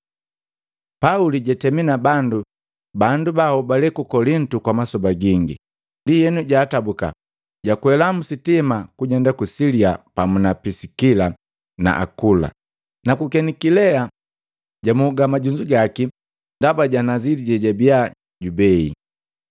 Pauli jatemi na bandu banhobale ku Kolintu kwa masoba gingi. Ndienu jaatabuka, jwakwela msitima kujenda ku Silia pamu na Pisikila na Akula. Ku Kenikilea, jamoga majunzu gabu ndaba ja nazili jejabiya jubei.